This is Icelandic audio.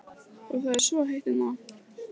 Og það er svo heitt hérna.